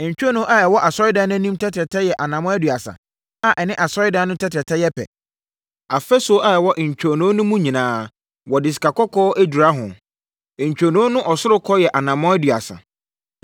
Ntwonoo a ɛwɔ Asɔredan no anim tɛtrɛtɛ yɛ anammɔn aduasa, a ɛne Asɔredan no tɛtrɛtɛ yɛ pɛ. Afasuo a ɛwɔ ntwonoo no mu no nyinaa, wɔde sikakɔkɔɔ adura mu. Ntwonoo no ɔsorokɔ yɛ anammɔn aduasa.